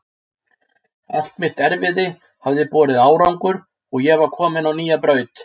Allt mitt erfiði hafði borið árangur og ég var komin á nýja braut.